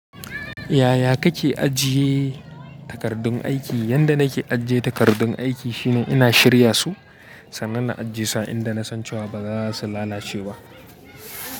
Yaya kake ajiye takardun aiki? Yanda nake ajiye takardun aiki shine ina shirya su, sannan na ajie su inda na san cewa ba za su lalace ba.